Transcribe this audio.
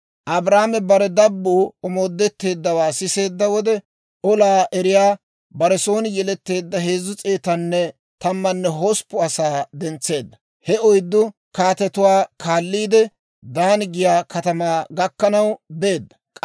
Abraame bare dabbuu omoodetteeddawaa siseedda wode, olaa eriyaa bare son yeletteedda 318 asaa dentseedda; he oyddu kaatetuwaa kaalliidde Daani giyaa katamaa gakkanaw beedda.